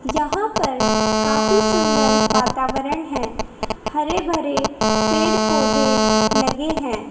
यहां पर काफी सुंदर वातावरण है हरे भरे पेड़ पौधे लगे है।